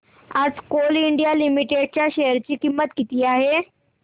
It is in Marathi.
आज कोल इंडिया लिमिटेड च्या शेअर ची किंमत किती आहे